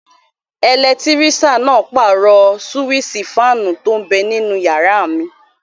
Ẹlẹtírísàn náà pàrọ̀ súwísì fáànù tó n bẹ ninú yàrá mi